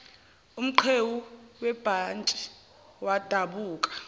umqhewu webhantshi wadabuka